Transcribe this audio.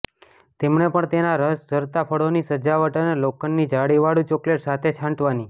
તેમણે પણ તેનાં રસ ઝરતાં ફળોની સજાવટ અને લોખંડની જાળીવાળું ચોકલેટ સાથે છાંટવાની